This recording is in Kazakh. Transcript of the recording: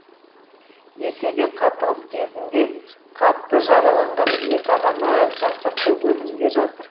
десе де қақтығыс кезінде қатты жараланған екі адам әлі жансақтау бөлімінде жатыр